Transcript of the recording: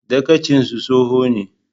Dagacinsu tsoho ne.